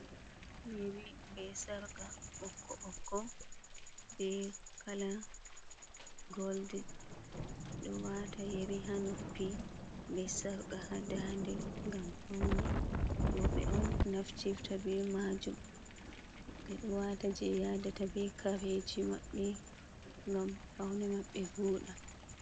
Yeri ɓe sarka ɓokko-ɓokko, be kala goldin. Ɓe ɗo wata yari ha noppi ɓe sarka ha ndaa'nde ngam paune. Roɓe on naftirta ɓe majum ɓe ɗo wata je yadata ɓe kareji maɓɓe gam paune maɓɓe vooɗa.